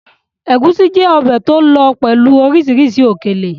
Egúsí jẹ́ ọbẹ̀ tí ó lọ pẹ̀lú oríṣìí òkèlè.